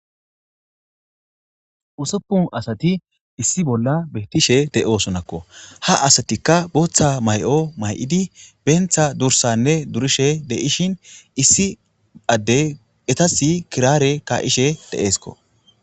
usoppun asati issi bolla beettishe de7osonakko ha asatikka booththa may7o may7idi beentha dursanne durishe deishin issi adde etasi kiraare ka7ishe deeesko